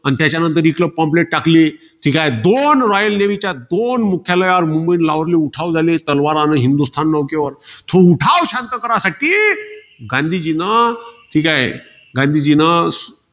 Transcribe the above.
अन त्याच्यानंतर बी pomplate टाकले. ते काय, दोन royal navy च्या दोन मुख्यालयात मुंबई, लाहोरले उठाव झाले. तलवार आणि हिंदुस्थान नौकेवर. तो उठाव शांत करण्यासाठी, गांधीजीन ते काय? गांधीजीन